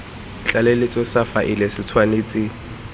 tlaleletso sa faele se tshwanetse